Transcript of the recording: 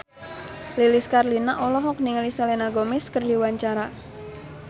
Lilis Karlina olohok ningali Selena Gomez keur diwawancara